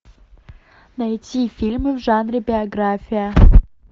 найти фильмы в жанре биография